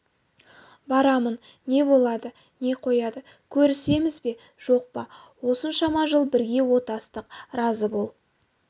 барамын не болады не қояды көрісеміз бе жоқ па осыншама жыл бірге отастық разы бол